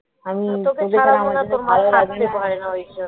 তোকে ছাড়া মনে হয় তোর মা থাকতে পারে না ওই জন্য